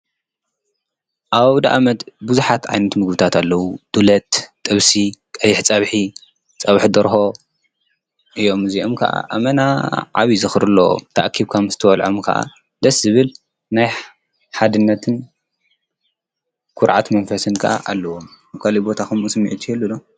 ኣብ ኣውደኣመት ብዙሓት ዓይኑት ምግብታት ኣለዉ፡፡ ድሎት ፣ጥብሲ ፣ቀይሕ ፀብሒ ፣ጸብሒ ደርሆ እዮም፡፡ እዚኦም ከዓ ኣመና ዓቢይ ዝኽሪ ኣለዎም ተኣኪብካ ምስትበልዖም ከዓ ደስ ዝብል ናይ ሓድነትን ኲርዓት መንፈስን ከዓ ኣለዎም፡፡ ኣብ ካልእ ቦታ ኸምኡ ስሚዒት ይህሉ ዶ?